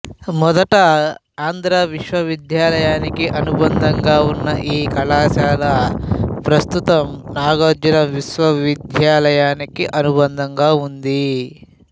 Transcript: మొదట ఆంధ్ర విశ్వవిద్యాలయానికి అనుబంధంగా ఉన్న ఈ కళాశాల ప్రస్తుతం నాగార్జున విశ్వవిద్యాలయానికి అనుబంధంగా ఉంది